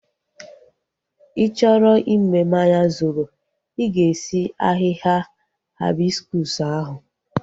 Ị chọrọ i mee mmanya zobo, i ga-esi ahịhịa haibiskus ahu